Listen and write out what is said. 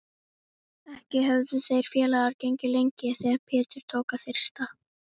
Ekki höfðu þeir félagar gengið lengi þegar Pétur tók að þyrsta.